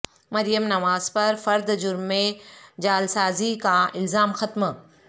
مریم نواز پر فرد جرم میں جعلسازی کا الزام ختم